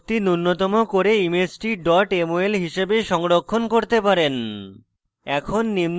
এখানে শক্তি নুন্যতম করে ইমেজটি mol হিসাবে সংরক্ষণ করতে পারেন